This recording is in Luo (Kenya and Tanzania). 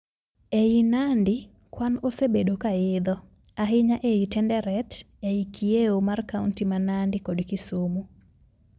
Ei Nandi, kwan osebedo kaidho. Ahinya ei Tenderet e kieo mar kaunti ma Nandi kod Kisumu.